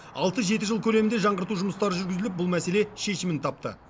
алты жеті жыл көлемінде жаңғырту жұмыстары жүргізіліп бұл мәселе шешімін тапты